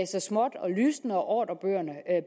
lysne og ordrebøgerne